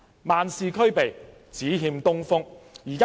萬事俱備，只欠東風。